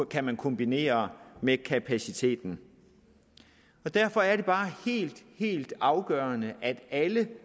kan kombinere med kapaciteten og derfor er det bare helt helt afgørende at alle